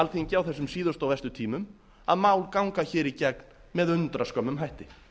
alþingi á þessum síðustu og verstu tímum að mál ganga hér í gegn með undraskömmum hætti